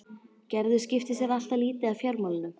Gerður skipti sér alltaf lítið af fjármálunum.